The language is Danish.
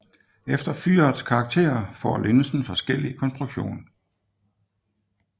Efter fyrets karakter får linsen forskellig konstruktion